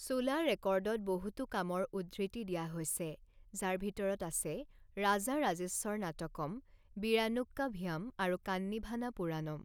চোলা ৰেকৰ্ডত বহুতো কামৰ উদ্ধৃতি দিয়া হৈছে, যাৰ ভিতৰত আছে ৰাজাৰাজেশ্বৰ নাটকম, বিৰানুক্কাভিয়াম, আৰু কান্নীভানা পুৰাণম।